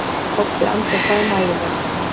Kobbi andvarpaði mæðulega.